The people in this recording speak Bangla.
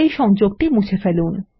এই সংযোগটি মুছে ফেলুন